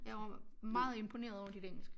Jeg var meget imponeret over dit engelsk